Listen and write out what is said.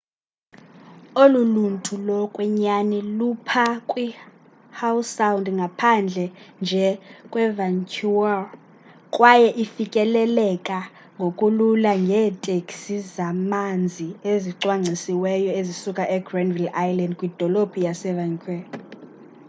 olu luntu lokwenyani lupha kwihowe sound ngaphandle nje kwevancouver kwaye ifikeleleka ngokulula ngeeteksi zamanzi ezicwangcisiweyo ezisuka egranville island kwidolophu yasevancouver